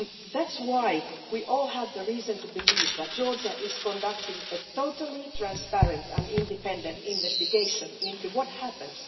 That is why we all have reason to believe that Georgia is conducting a totally transparent and independent investigation into what happened.